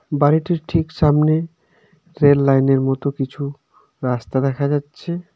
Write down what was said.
বাড়িটির ঠিক সামনে রেল লাইনের মতো কিছু রাস্তা দেখা যাচ্ছে.